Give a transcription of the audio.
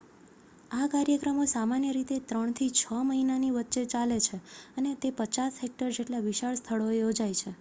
આ કાર્યક્રમો સામાન્ય રીતે ત્રણથી છ મહિનાની વચ્ચે ચાલે છે અને તે 50 હેક્ટર જેટલા વિશાળ સ્થળોએ યોજાય છે